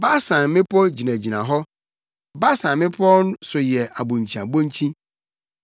Basan mmepɔw gyinagyina hɔ, Basan mmepɔw so yɛ abonkyiabonkyi.